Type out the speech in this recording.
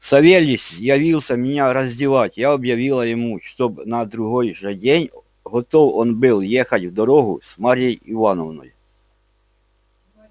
савельич явился меня раздевать я объявила ему чтоб на другой же день готов он был ехать в дорогу с марьей ивановной